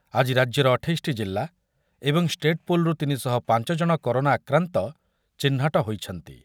ଆଜି ରାଜ୍ୟର ଅଠେଇଶ ଟି ଜିଲ୍ଲା ଏବଂ ଷ୍ଟେଟ୍‌ପୁଲ୍‌ରୁ ତିନିଶହ ପାଞ୍ଚ ଜଣ କରୋନା ଆକ୍ରାନ୍ତ ଚିହ୍ନଟ ହୋଇଛନ୍ତି।